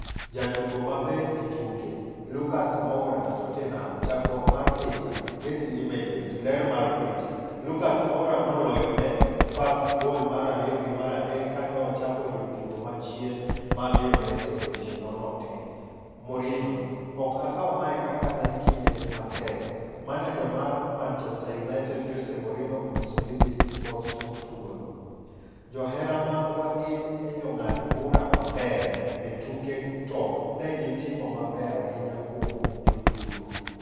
Jatugo maber e tuke - Lucas Moura (Tottenham) Chakruok mar picha, Getty Images. Ler mar picha, Lucas Moura noloyo ne Spurs bgol mar ariyo gi maradek kane ochapo jotugo machien mag United otieno no tee. Mourinho: 'Ok akawo mae kaka en kinde matek' Maneja mar Manchester United Jose Mourinho onyiso BBC Sport tok tugo no: "Johera magwa gin e jong'ad bura maber e tuke to negi timo maber ahinya kuom jotugo.